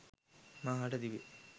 මා හට තිබේ.